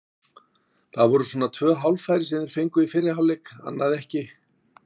Það voru svona tvö hálffæri sem þær fengu í fyrri hálfleik, annað ekki.